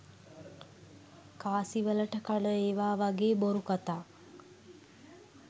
කාසි වලට කන ඒවා වගේ බොරු කතා.